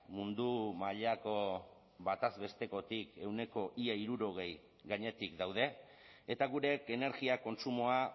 mundu mailako bataz bestekotik ehuneko ia hirurogei gainetik daude eta gure energia kontsumoa